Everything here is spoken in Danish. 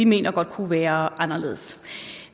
mener kunne være anderledes